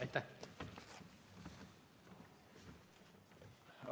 Aitäh!